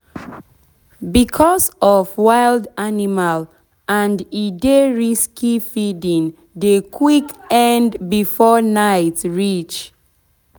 becos of wild animal and e dey risky feeding dey quick end before night reach.